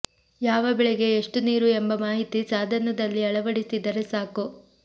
ಯಾವ ಬೆಳೆಗೆ ಎಷ್ಟು ನೀರು ಎಂಬ ಮಾಹಿತಿ ಸಾಧನದಲ್ಲಿ ಅಳವಡಿಸಿದರೆ ಸಾಕು